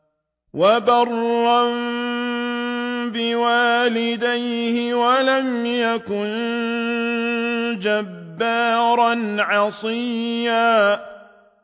وَبَرًّا بِوَالِدَيْهِ وَلَمْ يَكُن جَبَّارًا عَصِيًّا